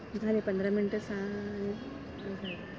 झाले पंधरा मिनिट सहा आणि